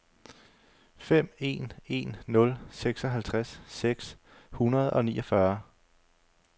fem en en nul seksoghalvtreds seks hundrede og niogfyrre